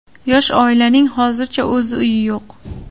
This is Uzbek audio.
Yosh oilaning hozircha o‘z uyi yo‘q.